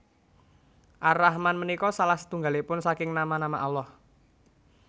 Ar Rahman punika salah setunggalipun saking nama nama Allah